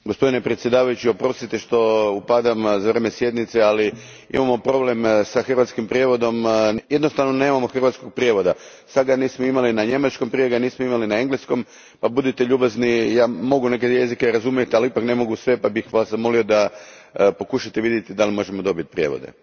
Gospodine predsjedniče, oprostite što upadam za vrijeme sjednice, ali imamo problem s hrvatskim prijevodom, jednostavno nemamo hrvatskog prijevoda. Sad ga nismo imali na njemačkom, prije ga nismo imali na engleskom, pa budite ljubazni, ja mogu neke jezike razumjeti, ali ipak ne mogu sve pa bih vas zamolio da pokušate vidjeti da li možemo dobiti prijevode.